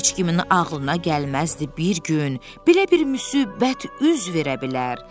Heç kimin ağlına gəlməzdi bir gün belə bir müsibət üz verə bilər.